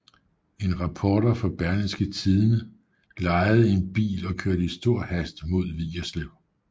En reporter fra Berlingske Tidende lejede en bil og kørte i stor hast mod Vigerslev